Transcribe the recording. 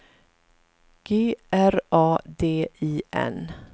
G R A D I N